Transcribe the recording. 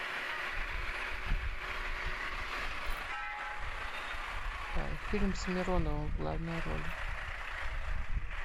фильм с мироновым в главной роли